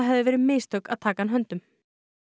hefðu verið mistök að taka hann höndum